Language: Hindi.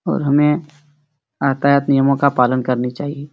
और हमें आतायात नियमो का पालन करना चाहिए।